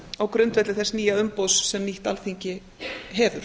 á grundvelli þess nýja umboðs sem nýtt alþingi hefur